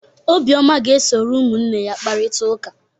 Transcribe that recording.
Obioma ga-esoro ụmụnne ya kparịta ụka.